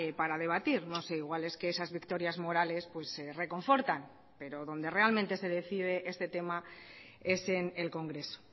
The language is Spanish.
para debatir no sé igual es que esas victorias morales reconfortan pero donde realmente se decide este tema es en el congreso